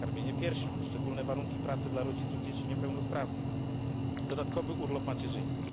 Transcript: przerwę na karmienie piersią, szczególne warunki pracy dla rodziców dzieci niepełnosprawnych, dodatkowy urlop macierzyński.